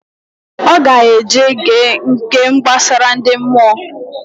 Oga eje ge nke gbasara ndi mmụọ